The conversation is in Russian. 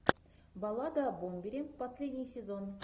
баллада о бомбере последний сезон